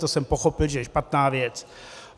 To jsem pochopil, že je špatná věc.